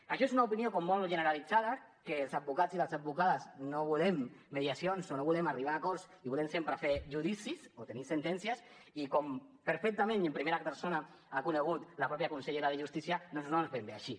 això és una opinió com molt generalitzada que els advocats i les advocades no volem mediacions o no volem arribar a acords i volem sempre fer judicis o tenir sentències i com perfectament i en primera persona ha conegut la mateixa consellera de justícia doncs no és ben bé així